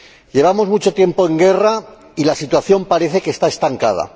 Llevamos mucho tiempo en guerra y la situación parece que está estancada.